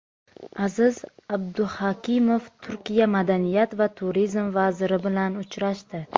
Aziz Abduhakimov Turkiya madaniyat va turizm vaziri bilan uchrashdi.